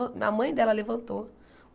A mãe dela levantou.